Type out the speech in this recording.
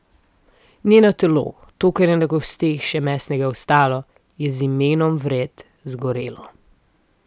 Njeno telo, to, kar je na kosteh še mesenega ostalo, je z imenom vred zgorelo.